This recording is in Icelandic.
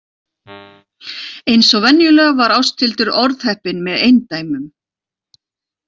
Eins og venjulega var Ásthildur orðheppin með eindæmum.